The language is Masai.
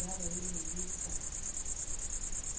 yabayo ne bisaka.